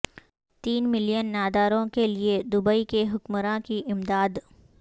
تین ملین ناداروں کے لیے دبئی کے حکمراں کی امداد